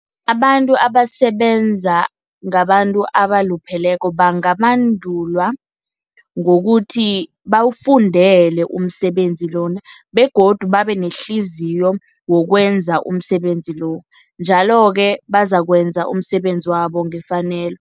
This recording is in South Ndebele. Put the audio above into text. Abantu abasebenza ngabantu abalupheleko bangabandulwa ngokuthi bawufundele umsebenzi lona, begodu babe nehliziyo yokwenza umsebenzi lo, njalo-ke bazakwenza umsebenzi wabo ngefanelo.